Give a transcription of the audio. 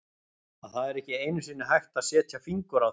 að það er ekki einusinni hægt að setja fingur á þau.